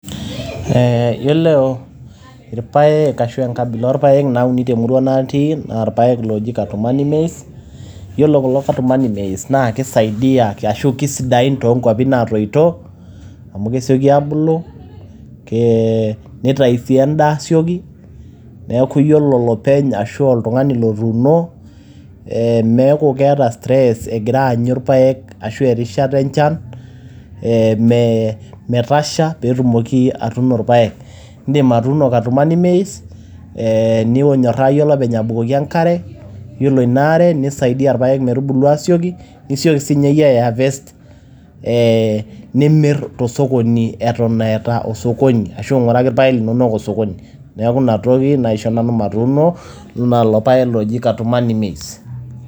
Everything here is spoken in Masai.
Eeh yiolo irpaek ashu enkabila oo irpaek naauni te murua natii naa irpaek ooji katumani maize. Yiolo kulo katumani maize naa kesaidia ashu keisidain too nkuapi naatoito, amu kesioki aabulu, nee neitayu sii en`daa aasioki. Niaku ore olopeny arashu oltung`ani otuuno eeh meku keeta e stress egira aanyu irpaek ashu erishata enchan metasha pee etumoki atuuno irpaek. Idim atuuno katumani maize ninyoraa iyie olopeny abukoki enkare ore ina are neisaidia irpaek metubulu aasioki. Nisioki sii ninye iyie ai harvest eeh nimirr to sokoni eton eeta o sokoni ashu ing`uraki ilpaek linonok osokoni. Niaku ina toki naisho nanu matuuno nanu lelo paek looji katumani maize.